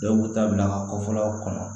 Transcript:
Dɔw b'u ta bila an ka kɔfɔlaw kɔnɔ